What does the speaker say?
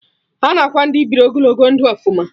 Ana akwa Ndị biri ogologo ndụ ọfụma